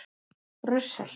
Brussel